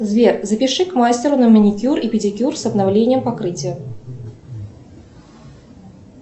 сбер запиши к мастеру на маникюр и педикюр с обновлением покрытия